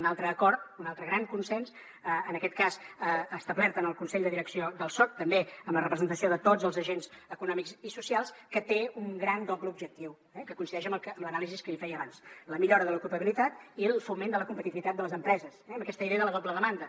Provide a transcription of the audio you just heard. un altre acord un altre gran consens en aquest cas establert en el consell de direcció del soc també amb la representació de tots els agents econòmics i socials que té un gran doble objectiu eh que coincideix amb l’anàlisi que feia abans la millora de l’ocupabilitat i el foment de la competitivitat de les empreses eh amb aquesta idea de la doble demanda